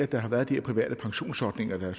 der har været de her private pensionsordninger